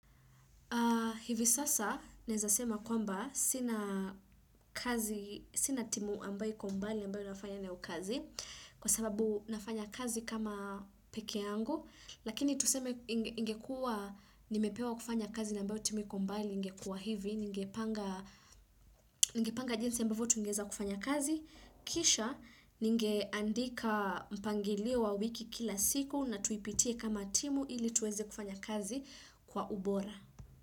Hivi sasa naeza sema kwamba sina sina timu ambayo iko mbali ambayo nafanya nayo kazi kwa sababu nafanya kazi kama pekee yangu lakini tuseme ingekuwa nimepewa kufanya kazi yenye ambayo timu iko mbali ingekuwa hivi ningepanga jinsi ambavyo tungeweza kufanya kazi kisha ningeandika mpangilio wa wiki kila siku na tuipitie kama timu ili tuweze kufanya kazi kwa ubora.